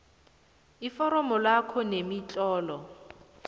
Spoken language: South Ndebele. iforomo lakho nemitlolo